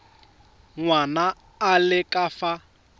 ngwana a le ka fa